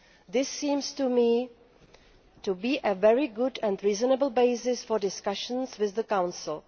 This seems to me to be a very good and reasonable basis for discussions with the Council.